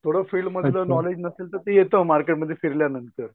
थोडं फिलमधलं नॉलेज नसेल तर ते येत मार्केटमध्ये फिरल्यानंतर .